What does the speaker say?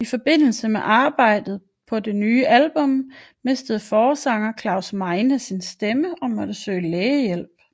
I forbindelse med arbejdet på det nye album mistede forsanger Klaus Meine sin stemme og måtte søge lægehjælp